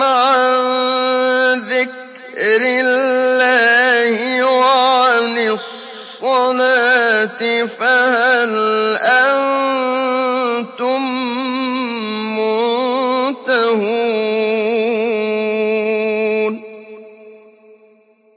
عَن ذِكْرِ اللَّهِ وَعَنِ الصَّلَاةِ ۖ فَهَلْ أَنتُم مُّنتَهُونَ